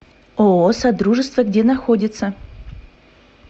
ооо содружество где находится